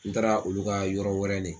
N taara olu ka yɔrɔ wɛrɛ le.